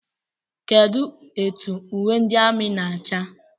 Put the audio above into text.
Kedụ etụ uwe ndị amị na-acha?